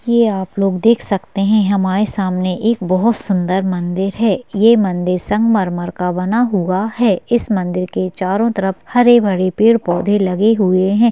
ये आप लोग देख सकते है हमारे सामने एक बहुत सुंदर मंदिर है ये मंदिर संगमरमर का बना हुआ है इस मंदिर के चारों तरफ हरे-भरे पेड़-पौधे लगे हुए हैं।